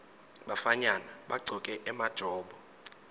bafanyana bagcoke emajobo